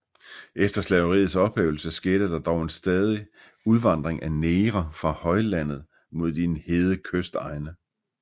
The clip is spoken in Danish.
Efter slaveriets ophævelse skete der dog stadig en udvandring af negre fra højlandet mod de hede kystegne